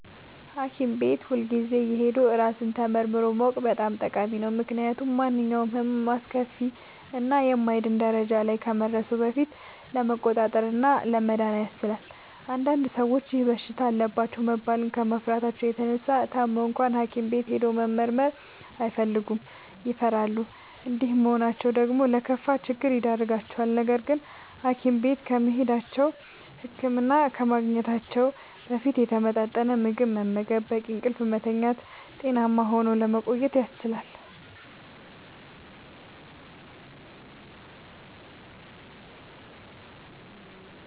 ሀኪም ቤት ሁልጊዜ እየሄዱ ራስን ተመርምሮ ማወቅ በጣም ጠቃሚ ነው። ምክንያቱም ማንኛውም ህመም አስከፊ እና የማይድን ደረጃ ላይ ከመድረሱ በፊት ለመቆጣጠር እና ለመዳን ያስችላል። አንዳንድ ሰዎች ይህ በሽታ አለባችሁ መባልን ከመፍራታቸው የተነሳ ታመው እንኳን ሀኪም ቤት ሄዶ መመርመር አይፈልጉም ይፈራሉ። እንዲህ መሆናቸው ደግሞ ለከፋ ችግር ይዳርጋቸዋል። ነገርግን ሀኪም ቤት ከመሄዳቸው(ህክምና ከማግኘታቸው) በፊት የተመጣጠነ ምግብ በመመገብ፣ በቂ እንቅልፍ በመተኛት ጤናማ ሆኖ ለመቆየት ያስችላል።